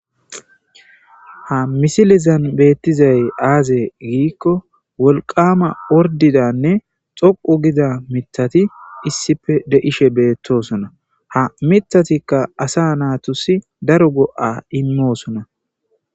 Ha misilizan beettizay aazey giikko wolqama ordidanne xoqu gida mitati issife deishe beettosona ha mitatikka asa naatusi daro go7a immoosona